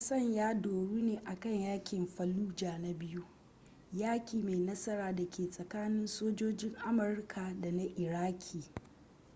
wasan ya doru ne akan yaƙin fallujah na biyu yaƙi mai nasara da ke tsakanin sojojin amurka da na iraki